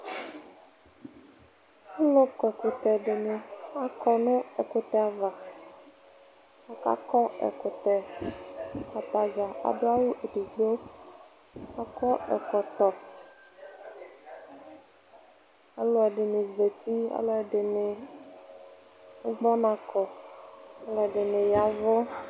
Alʋ kɔ ɛkʋtɛ dɩnɩ akɔ nʋ ɛkʋtɛ ava, aka kɔ ɛkʋtɛ Atadzaa adʋ awʋ edigbo, k'akɔ ɛkɔtɔ, alʋɛdɩnɩ zati, alʋɛdɩnɩ agbɔ ɔna kɔ, alʋɛdɩnɩ yavʋ